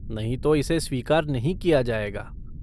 नहीं तो इसे स्वीकार नहीं किया जाएगा।